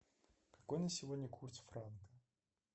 какой на сегодня курс франка